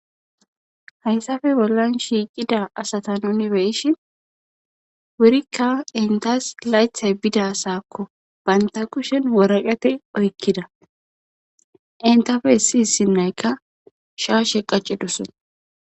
hayssafe bollan shiicida asata nuni be'ishin wurikka intas laythay bida saakko baynta kushen woraqate oykkida intafe issi issi naykka shaashe qacidosona